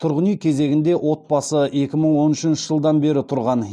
тұрғын үй кезегінде отбасы екі мың он үшінші жылдан бері тұрған